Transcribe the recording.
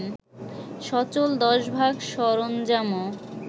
সচল ১০ ভাগ সরঞ্জামও